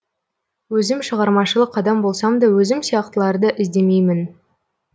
өзім шығармашылық адам болсам да өзім сияқтыларды іздемеймін